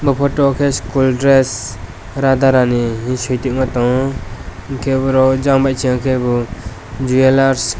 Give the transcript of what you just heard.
o photo ke school dress rada rani hinui suitongma tongo hingke borok jang bai sangke bo jewellers.